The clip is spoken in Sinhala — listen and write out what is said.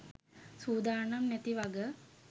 සූදානම් නැති වග.